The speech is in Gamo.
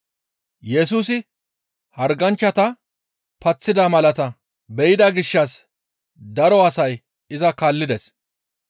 Yesusi harganchchata paththida malaata be7ida gishshas daro asay iza kaallides.